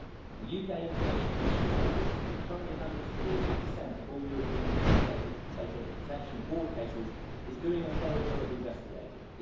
The UK Information Commissioner's Office, which currently handles 30 of all European data protection board cases, is doing a thorough job of investigating.